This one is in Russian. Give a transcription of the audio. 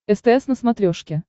стс на смотрешке